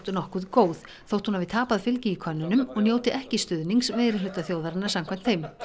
nokkuð góð þótt hún hafi tapað fylgi í könnunum og njóti ekki stuðnings meirihluta þjóðarinnar samkvæmt þeim